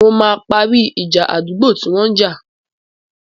Mo máa parí ìjà àdúgbò tí wọ́n jà.